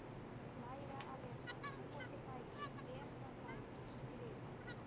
Læra að lesa- búa til bækur- lesa bækur- skrifa